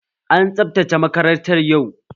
An tsabtace makarantar yau